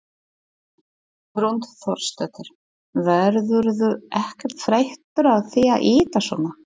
Hrund Þórsdóttir: Verðurðu ekkert þreyttur á því að ýta svona?